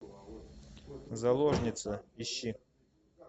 заложница ищи